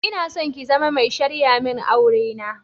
Inason ki zama mai sharyamin aure na.